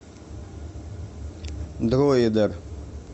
дроидер